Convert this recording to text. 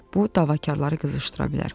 Bu davakarları qızışdıra bilər.